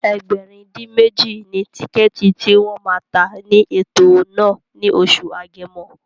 Ẹgbẹ̀rin-dín-méjì ni tíkẹ̀ẹ̀tì tí wọ́n ma tà ní ètò náà ní oṣù Agẹmọ